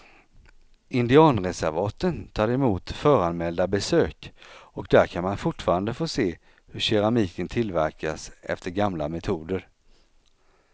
Indianreservaten tar emot föranmälda besök och där kan man fortfarande få se hur keramiken tillverkas efter gamla metoder.